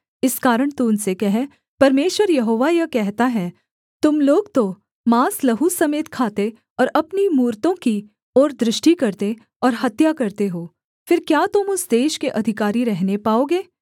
इस कारण तू उनसे कह परमेश्वर यहोवा यह कहता है तुम लोग तो माँस लहू समेत खाते और अपनी मूरतों की ओर दृष्टि करते और हत्या करते हो फिर क्या तुम उस देश के अधिकारी रहने पाओगे